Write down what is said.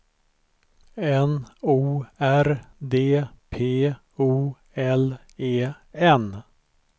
N O R D P O L E N